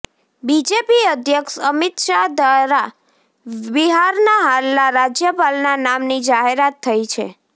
BJP અધ્યક્ષ અમિત શાહ દ્વારા બિહારના હાલના રાજ્યપાલના નામની જાહેરાત થઈ છે